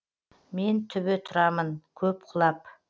мен түбі тұрамын көп құлап